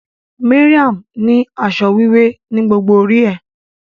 Mariam ni asọ wiwẹ ni gbogbo ori é.